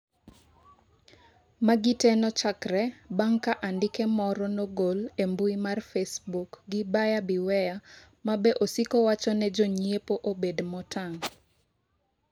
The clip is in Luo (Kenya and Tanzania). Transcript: magi te nochakre bange ka andike moro nogol e mbui mar facebook gi Buyer Beware ma be osiko wacho ne jo nyiepo obed motang'